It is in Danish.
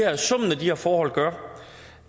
her forhold gør